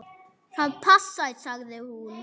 Það passar, sagði hún.